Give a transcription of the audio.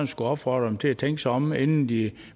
skulle opfordre dem til at tænke sig om inden de